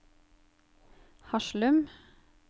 Haslum